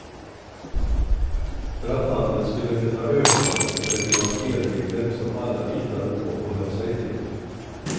För att handeln skulle kunna öka måste det finnas spelregler som alla litade på och höll sig till.